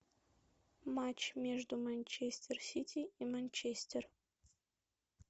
матч между манчестер сити и манчестер